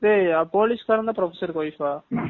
police காரங்கதான் professor கு wife ஆ